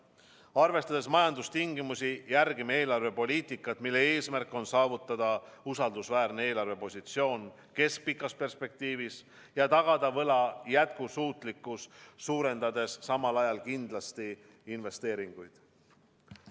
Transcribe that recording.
Arvestades majandustingimusi, järgime eelarvepoliitikat, mille eesmärk on saavutada usaldusväärne eelarvepositsioon keskpikas perspektiivis ja tagada võla jätkusuutlikkus, suurendades samal ajal kindlasti investeeringuid.